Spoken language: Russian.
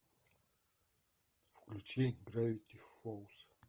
включи гравити фолз